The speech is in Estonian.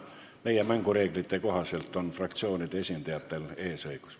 Meie mängureeglite kohaselt on fraktsioonide esindajatel eesõigus.